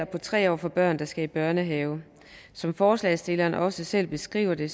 på tre år for børn der skal i børnehave som forslagsstillerne også selv beskriver det